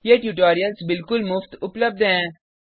ये ट्यूटोरियल्स बिल्कुल मुफ्त उपलब्ध हैं